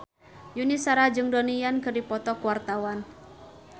Yuni Shara jeung Donnie Yan keur dipoto ku wartawan